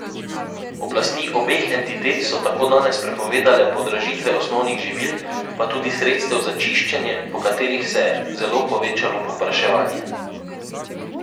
Oblasti obeh entitet so tako danes prepovedale podražitve osnovnih živil, pa tudi sredstev za čiščenje, po katerih se je zelo povečalo povpraševanje.